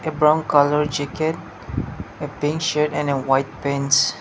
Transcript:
brown colour jacket a pink shirt and a white pants.